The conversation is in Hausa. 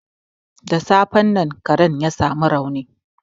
Da safen nan karen ya sa mu rauni.